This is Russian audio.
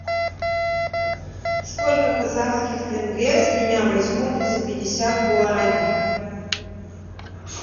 сколько казахских тенге с меня возьмут за пятьдесят гуарани